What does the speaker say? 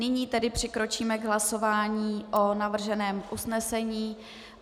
Nyní tedy přikročíme k hlasování o navrženém usnesení.